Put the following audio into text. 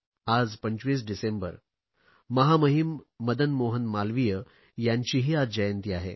आज 25 डिसेंबर महामहिम मदन मोहन मालवीय यांचीही आज जयंती आहे